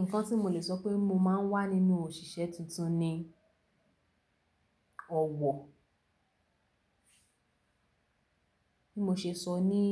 Nǹkan tí mo lè sọ pé mo máa ń wà nínú òṣìṣẹ́ tuntun ni ọ̀wọ̀. Bí mo ṣe sọ ní